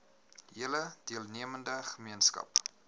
hele deelnemende gemeenskap